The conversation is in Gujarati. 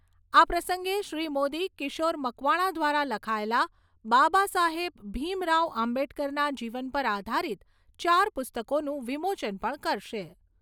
આ પ્રસંગે શ્રી મોદી કિશોર મકવાણા દ્વારા લખાયેલા બાબા સાહેબ ભીમરાવ આંબેડકરના જીવન પર આધારિત ચાર પુસ્તકોનું વિમોચન પણ કરશે.